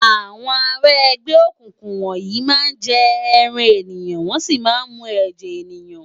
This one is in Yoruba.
Awòn àrá ègbè ókúkú wòn yi má n jè èrán éniyán wòn si má n mú èjè éniyán